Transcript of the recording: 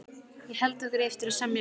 Ég held okkur eigi eftir að semja vel